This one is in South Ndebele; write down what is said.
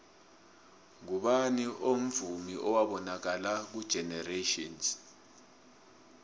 ngubani omvumi owabonakala ngugeneratjhini